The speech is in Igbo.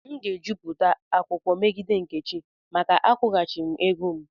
M ga-ejupụta akwụkwọ megide nkechi maka akwụghachighị m ego m.